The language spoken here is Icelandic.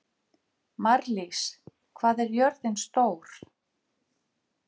Marlís, hvað er jörðin stór?